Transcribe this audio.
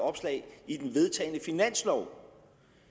opslag i den vedtagne finanslov